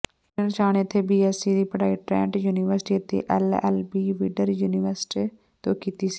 ਕਿਰਨ ਸ਼ਾਹ ਨੇ ਇਥੇ ਬੀਐਸਸੀ ਦੀ ਪੜ੍ਹਾਈ ਟਰੈਂਟ ਯੂਨੀਵਰਸਟੀ ਅਤੇ ਐਲਐਲਬੀ ਵਿੰਡਸਰ ਯੂਨੀਵਰਸਟੀ ਤੋਂ ਕੀਤੀ